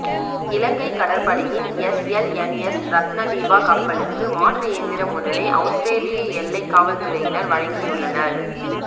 இலங்கை கடற்படையின் எஸ்எல்என்எஸ் ரத்னதீபா கப்பலுக்கு மாற்று இயந்திரம் ஒன்றினை அவுஸ்திரேலிய எல்லை காவல்துறையினர் வழங்கியுள்ளனர்